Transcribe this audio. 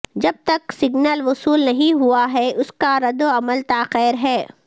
جب تک سگنل وصول نہیں ہوا ہے اس کا ردعمل تاخیر ہے